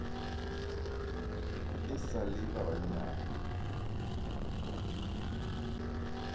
e sa le ba bannyane